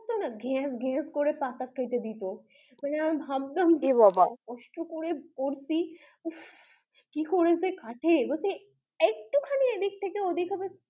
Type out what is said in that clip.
ঘেজ ঘেজ করে পাতা কেটে দিত আর আমরা ভাবতাম এ বাবা কষ্ট করে করছি উফ কি করে কাটে একটুখানি এই দিক থেকে ঐদিক হবে